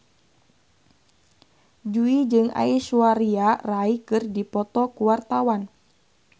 Jui jeung Aishwarya Rai keur dipoto ku wartawan